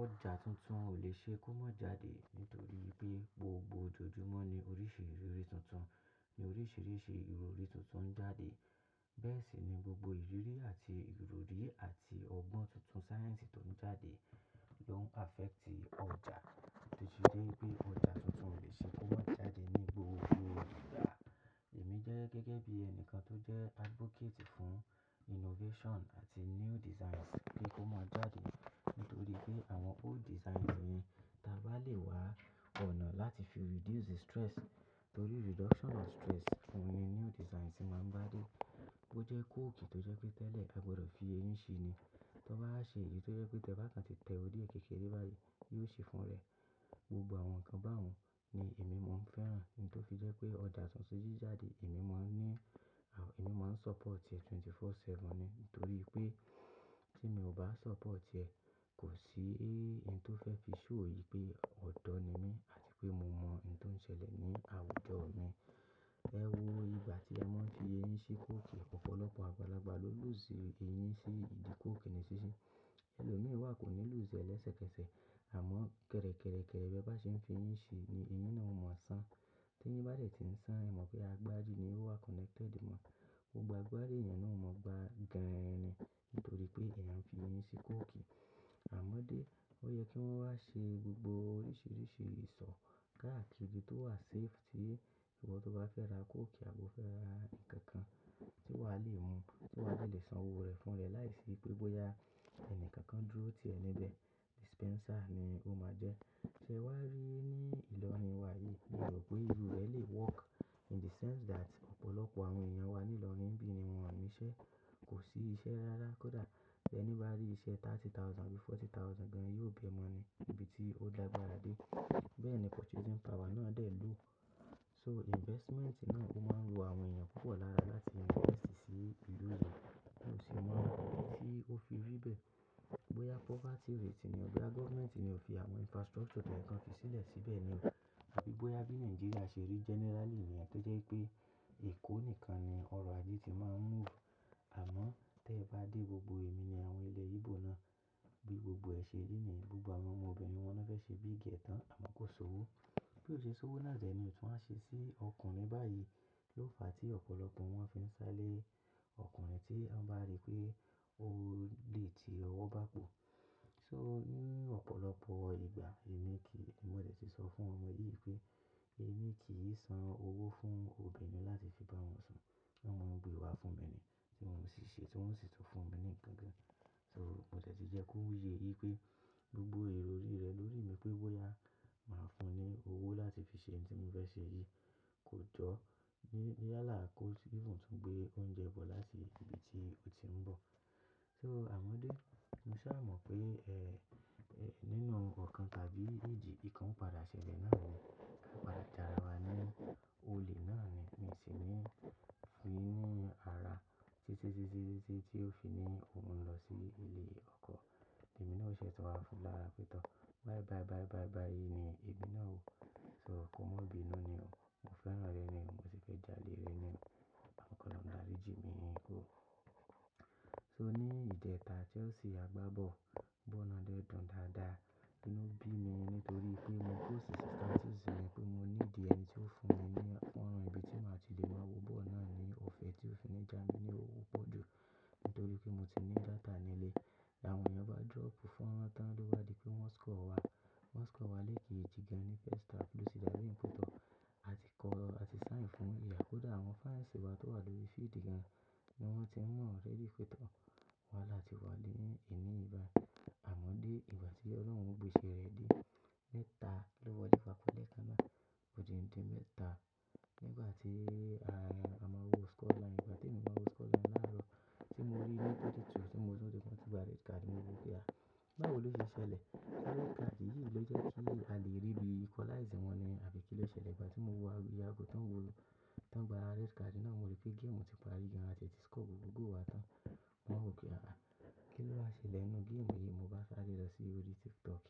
Ọjà tuntun o lè ṣe kó má jáde nítorí pé gbogbo ojoojúmọ́ ní oríṣìíríṣìí tuntun, ní oríṣìíríṣìí ìrorí tuntun ń jáde. Bẹ́ẹ̀ sì ni gbogbo ìriirí àti ìrorí àti ọgbọ́n tuntun sáyẹ́ǹsì tó ń jáde lò ń affect ọjà títí dé pé ọjà tuntun o lè ṣe kó má jáde ní gbogbo ìgbà. Èmi jẹ́ gẹ́gẹ́ bí ẹni kan tó jẹ́ advocate fún innovation àti new designs kí ó má jáde nítorí pé àwọn old designs yen ta bá le wá ọ̀nà láti fi reduce stress, torí reduction of stress oún ni new designs ṣe máa ń bá dé. Ó jẹ́ kóòkì tó jẹ́ pé tẹ́lẹ̀ a gbọdọ̀ fi eyín ṣe ni, tón bá wa ṣe èyí tó jẹ́ pé tẹ bá kan ti tẹ orí ẹ́ kékeré báyìí, yóò ṣe fún ra ẹ. Gbogbo àwọn nǹkan báun ni èmi mo ń fẹ́ràn, níto fi je pé ọjà tuntun to jáde èmi máa ń ní, èmi máa ń support ẹ̀ twenty-four seven ni. Nítorí pé tí mi ò bá support ẹ, kò sí nn tó fẹ́ fi show yìí pé ọ̀dọ́ ni mí àti pé mo mọ n to ṣẹlẹ̀ ní àwùjọ mi. Ewo ìgbà tí ẹ máa ń fi eyín ṣi kóòkì, ọ̀pọ̀lọpọ̀ àgbàlagbà ló lose eyín sí ìdí kóòkì nísisìí. Ẹ̀lòmíràn wá kò ní lose ẹ lẹ́sẹ̀kẹsẹ̀, àmọ́ kẹ̀rẹ̀kẹ̀rẹ̀kẹ̀rẹ̀ bẹ́ bá ṣe ń fi eyín ṣe ni eyín náà ò mọ̀ san. Tí èyin bá dẹ̀ tí ń san, ẹ mọ̀ pé agbárí ni ó wá connected mọ. Gbogbo agbárí èèyàn náà ò mọ̀ gba gan-an ran nítorí pé èèyàn ń fi eyín ṣi kóòkì. Àmọ́dé, ó yẹ kí wọ́n wá ṣe gbogbo oríṣìíríṣìí ìsọ̀ káàkiri tó wà safe ti. Ìwọ tó bá fẹ́ ra kóòkì àbo fẹ́ ra ǹkan kan tí wàá le mu, tí wà á lè san owó rẹ̀ fún ra ẹ láìsí pé bóyá ẹni kankan dúró tì ẹ níbẹ̀. Dispenser ni ó máa jẹ́. Sẹ wá rí ní ìlọrin wa yìí, mio rò pé irú rẹ̀ lè work in the sense that ọ̀pọ̀lọpọ̀ àwọn èèyàn wa ní ìlọrin nbí i ni wọ́n o niṣẹ́. Kò sí iṣẹ́ rárá, kódà tí ẹni bá rí iṣẹ́ thirty thousand àbí forty thousand gan-an, yóò bẹ̀ ẹ́ mọ́ ni ibi tí ó làgbàra dé. Bẹ́ẹ̀ ni purchasing power náà dẹ̀ low. So investment náà ó máa ń wo àwọn èèyàn púpọ̀ lára láti invest sí ìlú yìí, hun o sì mo idí tí ó fi rí bẹ́ẹ̀. Bóyá poverty rate ni ò, bóyá government ni ò fi àwọn infrastructure toyẹ́ kan fi sílẹ̀ síbẹ̀ ni o. Abí bóyá bí Nigeria ṣe rí generally ni yẹ tojẹ́ pé èkó nìkan ni ọrọ̀ ajé ti máa ń move. Àmọ́ tí ẹ bá dé gbogbo èmi ni àwọn ilẹ̀ Igbo náà, bí gbogbo ẹ̀ ṣè rí ni gbogbo àwọn ọmọbìnrin wọn ni wọ́n fẹ́ ṣe big girl tan àmọ́ kò ṣowó. Bí ò ṣe ṣowó náà dẹ́ ni òótun wa ṣe sí ọkùnrin báyìí ló fà tí ọ̀pọ̀lọpọ̀ wọn fi ń sá lé ọkùnrin tí wọ́n bá rí pé ó lè ti ọwọ́ bá pọ̀. So ní ọ̀pọ̀lọpọ̀ ìgbà èmi kì í, mo dẹ̀ ti sọ fún ọmọ yìí pé èmi kì í san owó fún obìnrin láti fi bá wọn sun. Wọn gbé wá fún mi ni, tí mò si ṣe, tí wọ́n sì tún fún mi ní ǹkan kan gan. So mo dẹ̀ ti jẹ́ kó yẹ wìí pé gbogbo ìrọrí rẹ̀ lórí mi pé bóyá màá fún un ní owó láti fi ṣe ohun tí mò ń fẹ́ ṣe yìí kò jọ níyálà kó even tun gbé óuńjẹ bọ láti ibi tí ó ti ń bọ̀. So àmọ́dé, mo sá mọ̀ pé, eh, nínú ọ̀kan tàbí èjì, ìkan padà ṣẹlẹ̀ náà ni, ká padà jàrà wá ní olè náà ni, mio sì ní fu ní ara títí, títí, títí tí ó fi ní òun ń lọ sí ilé ọkọ. Èmi náà ó ṣẹ̀ to wá fún lára pétọ̀. "Bayì, bayì, bayì bayì bayì" ni o, "èmi náà ó," so "kò mọ̀ bínu ni o, mo fẹ́ràn ẹ ni o, mo sì fẹ́ jále rẹ́ ni o, àmọn k'ọ̀lọ̀un dàrí jí mi o ko. So ní ìjẹta Chelsea àgbá ball, ball náà dẹ́ dùn dáadáa. Inu bí mi nítorí pé mo post sì status mi pé mo need ẹ́nití ó fún mi ní ọ̀nà ibi tí màá ti lè lọ̀ wo bọ́ọ̀lù náà ní ọ̀fẹ́ tí ó fi ní jà mí ní owó pọ̀ ju, nítorí pé mo ti ní data nílẹ́. Àwọn èèyàn bá drop faran tán ló bá di pé wọ́n score wá, wọ́n score wá lẹ́ẹ̀keji tí gan-an ni first half ló ti dàbí pe tọ̀ àti kọ̀, àti sign fún iyà kódà àwọn fans wá towà lórí field gan-an ni wọ́n ti ń mọ̀ already pé tọ́ wáhala láti wá ni èni yí bàyi. Àmọ́dé ìgbà tí Ọlọ́run gbé iṣẹ́ rẹ̀ dé mẹ́ta lowọ́le pàpọ̀ lẹ́ẹ̀kan náà, ó di ǹ di mẹ́ta. Nígbà tí a máa wo score line, ìgbà tí èmi máa wo score line láàárọ̀ tí mo rí 1-2 tí mo mọ̀ pé wọ́n ti gba red card, mo wí pé "àáà, báwo ló ṣe ṣẹlẹ̀?" Red card yìí ló jẹ́ kí a lè rí bí equalize wọn ni àbí kí ló ṣẹlẹ̀ ìgbà tí mo wo iyà agò tó ń wo, tó ń gba red card náà mo rí pé game ti parí gan-an àti ẹ̀ tí score gbogbo goal wá tán. Mowa wò pe "àáà, kí ló wáa ṣẹlẹ̀ nínú game yìí?" Mo bá sáré lọ sí orí TikTok